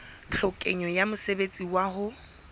tlhokeho ya mosebetsi wa ho